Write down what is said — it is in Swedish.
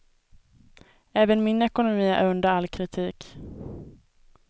Även min ekonomi är under all kritik.